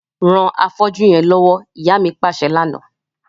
Ran afọ́jú yẹn lọwọ, ìyá mi paṣẹ lana.